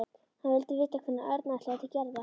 Hann vildi vita hvenær Örn ætlaði til Gerðar.